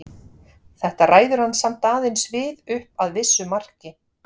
Þetta ræður hann samt aðeins við upp að vissu marki.